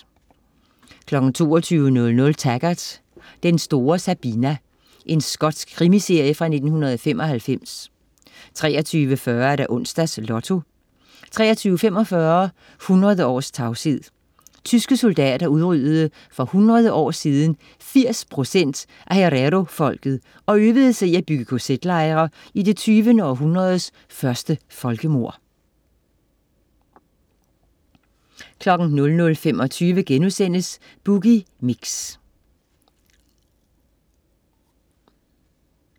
22.00 Taggart: Den store Sabina. Skotsk krimiserie fra 1995 23.40 Onsdags Lotto 23.45 100 års tavshed. Tyske soldater udryddede for 100 år siden 80% af hererofolket og øvede sig i at bygge kz-lejre i det 20. århundredes første folkemord 00.25 Boogie Mix*